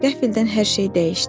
Qəfildən hər şey dəyişdi.